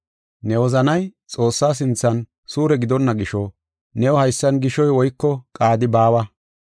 Ne wozanay Xoossaa sinthan suure gidonna gisho, new haysan gishoy woyko qaadi baawa.